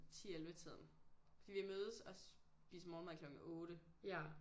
10-11 tiden fordi vi mødes og spiser morgenmad klokken 8